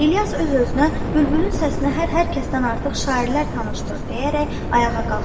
İlyas öz-özünə bülbülün səsinə hər kəsdən artıq şairlər tanışdır deyərək ayağa qalxdı.